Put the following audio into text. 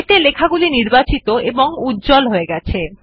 এতে লেখাগুলি নিবাচিত এবং উজ্জ্বল হয়ে গেছে